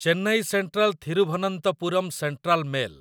Chennai Central Thiruvananthapuram Central mail